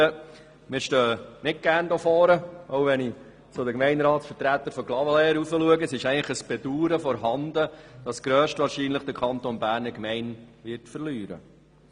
Wir stehen nicht gerne hier vorne, und wenn ich zu den Gemeindevertretern von Clavaleyres auf der Tribüne schaue, dann ist ein Bedauern vorhanden, dass der Kanton Bern höchstwahrscheinlich eine Gemeinde verlieren wird.